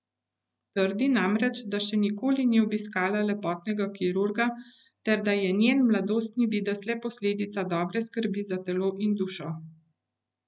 Trdi namreč, da še nikoli ni obiskala lepotnega kirurga ter da je njen mladostni videz le posledica dobre skrbi za telo in dušo.